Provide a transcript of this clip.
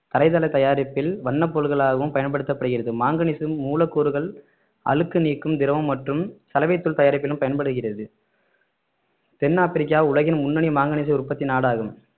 தரைதள தயாரிப்பில் வண்ணப்பொருள்களாகவும் பயன்படுத்தப்படுகிறது மாங்கனீசு மூலக்கூறுகள் அழுக்கு நீக்கும் திரவம் மற்றும் சலவைத்தூள் தயாரிப்பிலும் பயன்படுகிறது தென் ஆப்பிரிக்கா உலகின் முன்னணி மாங்கனீசு உற்பத்தி நாடாகும்